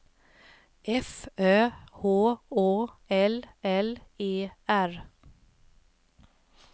F Ö R H Å L L E R